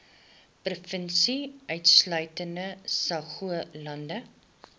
provinsie insluitende saoglande